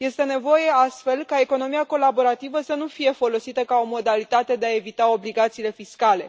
Este nevoie astfel ca economia colaborativă să nu fie folosită ca o modalitate de a evita obligațiile fiscale.